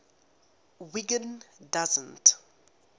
wiggin doesn t